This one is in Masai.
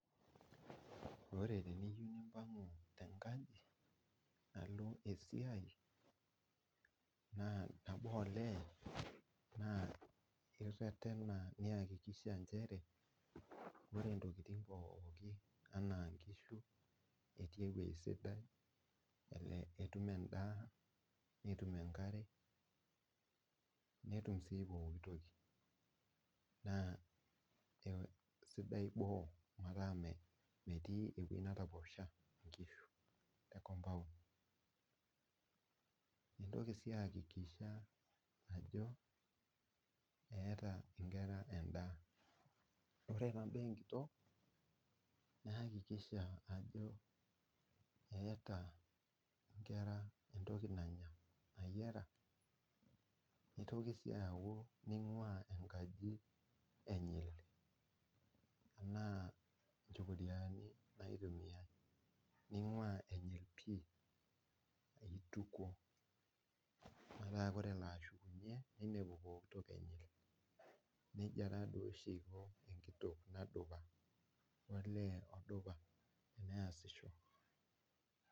ore tiniyieu nipangu tengaji alo esiai naa nabo olee ireretena ajo ore intokitin pooki etii esidai enaa inkishu ena edaa netum enkare netum sii poki toki, naa sidai boo metaa metii entoki natoposha, intoki sii aykikisha ajo eta inkera edaa , ore taa ibaa enkitok neyakisha ajo eeta inkera entoki nayiara itoki sii ajo nngua engaji enyil enaa echokiriani itukuo metaa ore elo ashukunye neltu itukuo nejie etiu olee ashu enkitok nadupa.